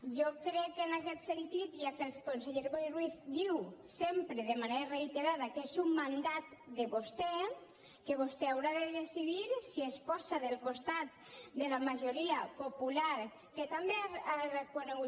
jo crec en aquest sentit ja que el conseller boi ruiz diu sempre de manera reiterada que és un mandat de vostè que vostè haurà de decidir si es posa del costat de la majoria popular que també ha reconegut